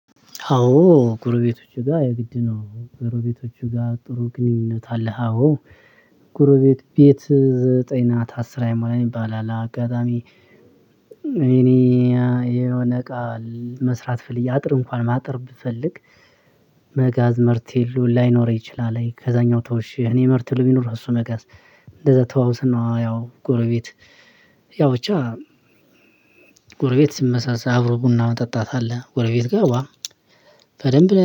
አዎ ጎረቤቶቼ ጋር የግድ ነው ጎረቤቶቼ ጋር ጥሩ ግንኙነት አለህ? አዎ ጎረቤት ቤት ዘጠኝ ናት አስር አይሞላም ይባላል። አጋጣሚ እኔ የሆነ እቃ መስራት ፈልጌ አጥር እንኳ ማጠር ብፈልግ። መጋዝ መርቴሎ ላይኖር ይችላል ከዛኛው ተውሼ እኔ መርቴሎ ቢኖር እሱ መጋዝ። እንደዛ ተዋውስና ያው ጎረቤት ያው ብቻ ጎረቤት ስመሳሰል አብሮ ቡና መጠጣት አለ። ጎረቤት ጋር ዋ በደንብ